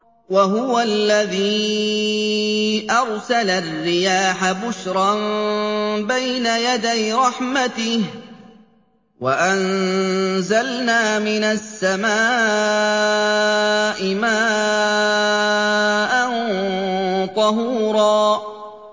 وَهُوَ الَّذِي أَرْسَلَ الرِّيَاحَ بُشْرًا بَيْنَ يَدَيْ رَحْمَتِهِ ۚ وَأَنزَلْنَا مِنَ السَّمَاءِ مَاءً طَهُورًا